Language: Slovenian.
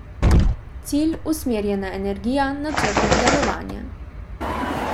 Cilj, usmerjena energija, načrtno delovanje.